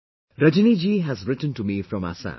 Rajni ji has written to me from Assam